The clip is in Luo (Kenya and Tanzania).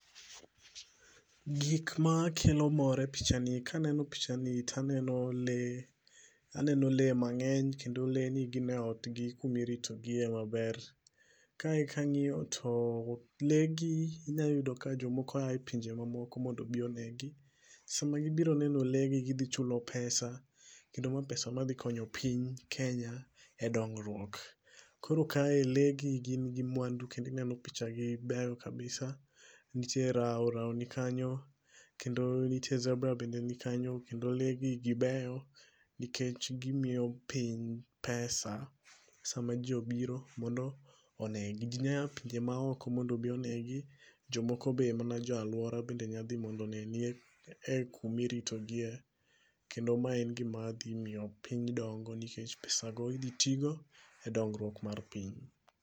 Gikma kelo mor e pichani kaneno pichani taneno lee, aneno lee mangeny kendo lee ni gin e ot gi kuma irito gie maber. Kae kangiyo to lee gi inya yudo ka jomoko ae pinje maoko mondo obi onegi. Sama gibiro neno lee gi to gichulo pesa kendo ma pesa madhi konyo piny Kenya e dongruok. Koro kae lee gi gin gi mwandu kendo ineno picha gibeyo kabisa, nitie rao, rao nikanyo kendo nitie zebra bende nikanyo kendo lee gi gieyo nikech gimiyo piny pesa sama jii obiro mondo onegi. Jii nya yaa pinje maoko mondo obi onegi, jomoko be mana jo aluora be nyadhi mondo oneni e kuma irito gie kendo mae en gima dhi miyo piny dongo nikech pesa go idhi tigo e dongruok mar piny